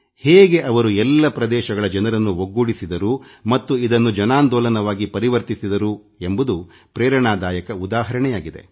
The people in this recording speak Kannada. ಹೇಗೆ ಅವರು ಎಲ್ಲ ಪ್ರದೇಶಗಳ ಜನರನ್ನು ಒಗ್ಗೂಡಿಸಿದರು ಮತ್ತು ಇದನ್ನು ಜನಾಂದೋಲನವಾಗಿ ಪರಿವರ್ತಿಸಿದರು ಎಂಬುದು ಸ್ಫೂರ್ತಿದಾಯಕ ಉದಾಹರಣೆಯಾಗಿದೆ